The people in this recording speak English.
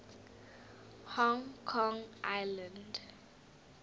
hong kong island